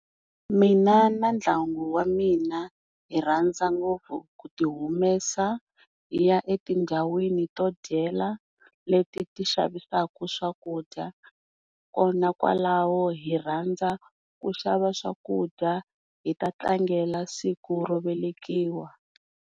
Mina na ndyangu wa mina hi rhandza ngopfu ku ti humesa hi ya etindhawini to dyela leti ti xavisaku swakudya kona kwalaho hi rhandza ku xava swakudya hibta tlangela siku ro velekiwa.